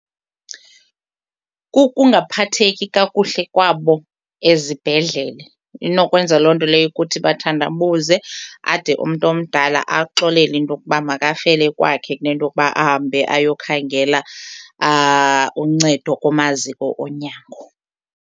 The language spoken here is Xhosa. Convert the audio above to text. Kukungaphatheki kakuhle kwabo ezibhedlele. Inokwenza loo nto leyo ukuthi bathandabuze ade umntu omdala axolele into yokuba makafele kwakhe kunento yokuba ahambe ayokhangela uncedo kumaziko onyango.